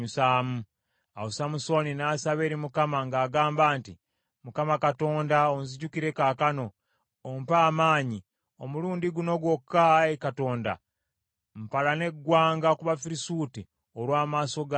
Awo Samusooni n’asaba eri Mukama ng’agamba nti, “ Mukama Katonda onzijukire kaakano, ompe amaanyi. Omulundi guno gwokka, ayi Katonda mpalane eggwanga ku Bafirisuuti olw’amaaso gange abiri.”